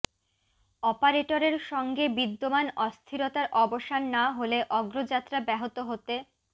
অপারেটরের সঙ্গে বিদ্যমান অস্থিরতার অবসান না হলে অগ্রযাত্রা ব্যাহত হতে